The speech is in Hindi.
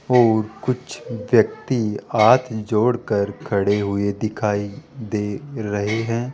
और कुछ व्यक्ति हाथ जोड़कर खड़े हुए दिखाई दे रहे हैं।